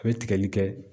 A bɛ tigɛli kɛ